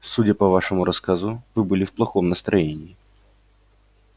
судя по вашему рассказу вы были в плохом настроении